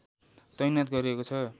तैनाथ गरिएको छ